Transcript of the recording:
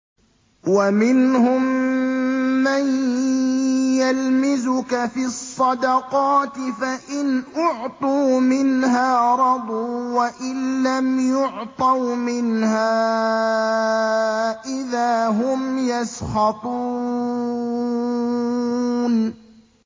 وَمِنْهُم مَّن يَلْمِزُكَ فِي الصَّدَقَاتِ فَإِنْ أُعْطُوا مِنْهَا رَضُوا وَإِن لَّمْ يُعْطَوْا مِنْهَا إِذَا هُمْ يَسْخَطُونَ